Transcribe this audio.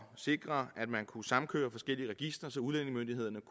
sikre at man kunne samkøre forskellige registre så udlændingemyndighederne